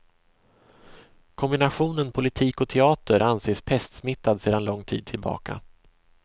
Kombinationen politik och teater anses pestsmittad sedan lång tid tillbaka.